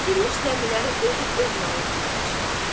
Əkilmiş zəmiləri özü öz malı kimi biçirdi.